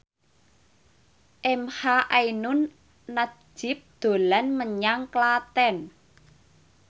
emha ainun nadjib dolan menyang Klaten